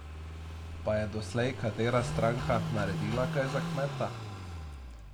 Pa je doslej katera stranka naredila kaj za kmeta?